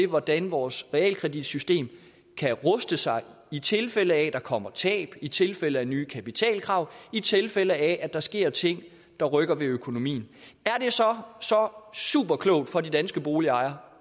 hvordan vores realkreditsystem kan ruste sig i tilfælde af at der kommer tab i tilfælde af nye kapitalkrav i tilfælde af at der sker ting der rykker ved økonomien er det så superklogt for de danske boligejere